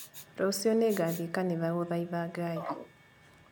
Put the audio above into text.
Rũciũ nĩngathiĩ kanitha gũthaitha Ngai